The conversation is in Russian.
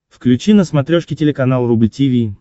включи на смотрешке телеканал рубль ти ви